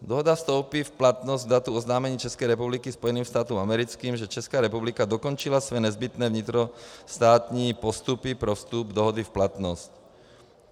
Dohoda vstoupí v platnost k datu oznámení České republiky Spojeným státům americkým, že Česká republika dokončila své nezbytné vnitrostátní postupy pro vstup dohody v platnost.